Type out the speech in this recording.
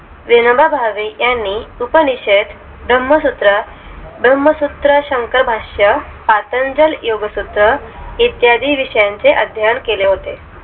विनोबा भावे यांनी उपनिषेद भ्रमसूत्र भ्रमसूत्रशंकारभाष्य आतंजल योगसूत्र इद्यादी विषयांची अध्ययन केले होते